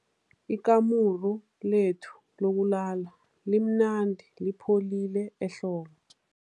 Ikamuru lethu lokulala limnandi lipholile ehlobo.